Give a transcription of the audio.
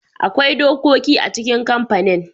Akwai dokoki a cikin kamfanin.